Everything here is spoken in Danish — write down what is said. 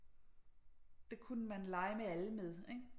Det kunne man lege med alle med ikke